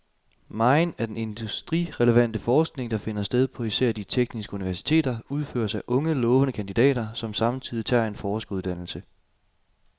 Megen af den industrirelevante forskning, der finder sted på især de tekniske universiteter, udføres af unge lovende kandidater, som samtidig tager en forskeruddannelse.